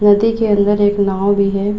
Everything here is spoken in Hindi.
नदी के अंदर एक नाव भी है।